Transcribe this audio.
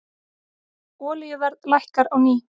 Olíuverð lækkar á ný